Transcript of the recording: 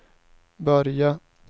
börja